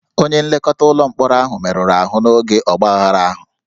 Onye nlekọta ụlọ mkpọrọ ahụ merụrụ ahụ n'oge ọgbaaghara ahụ